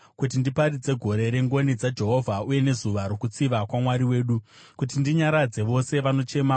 kuti ndiparidze gore rengoni dzaJehovha uye nezuva rokutsiva kwaMwari wedu, kuti ndinyaradze vose vanochema,